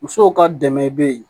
Musow ka dɛmɛ bɛ yen